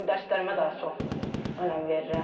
Dərslərimə daha çox önəm verirəm.